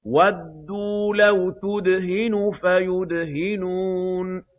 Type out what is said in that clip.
وَدُّوا لَوْ تُدْهِنُ فَيُدْهِنُونَ